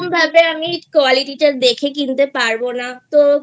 সেরকম ভাবে আমি quality টা দেখে কিনতে পারবো না